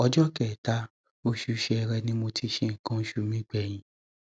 ọjọ kẹta oṣù ṣẹẹrẹ ni mo ti ṣe nǹkan oṣù mi gbẹyìn